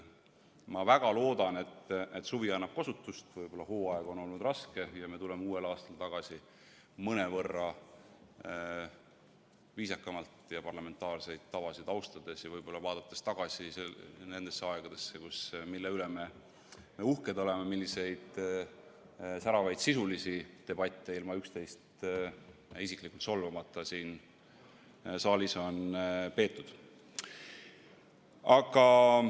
Ma väga loodan, et suvi annab kosutust, võib-olla hooaeg on olnud raske, ja me tuleme uuel hooajal tagasi mõnevõrra viisakamalt ja parlamentaarseid tavasid austades ja võib-olla vaadates tagasi nendesse aegadesse, mille üle me uhked oleme, milliseid säravaid sisulisi debatte ilma üksteist isiklikult solvamata siin saalis on peetud.